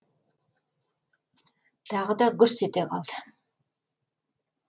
тағы да гүрс ете қалды